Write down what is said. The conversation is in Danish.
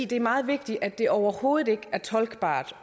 det er meget vigtigt at det overhovedet ikke er tolkbart